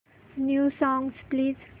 new songs please